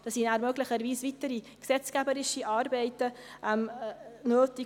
Da sind nachher möglicherweise weitere gesetzgeberische Arbeiten nötig.